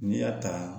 N'i y'a ta